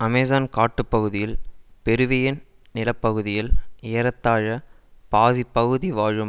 Amazon காட்டு பகுதியில் Peruvian நில பகுதியில் ஏறத்தாழ பாதி பகுதி வாழும்